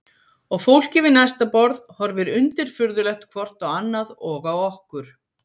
Og fólkið við næsta borð horfir undirfurðulegt hvort á annað og á okkur.